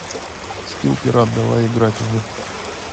скилл пират давай играть в